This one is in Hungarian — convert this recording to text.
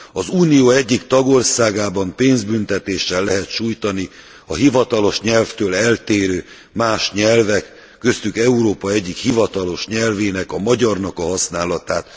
Az Unió egyik tagországában pénzbüntetéssel lehet sújtani a hivatalos nyelvtől eltérő más nyelvek, köztük Európa egyik hivatalos nyelvének, a magyarnak a használatát.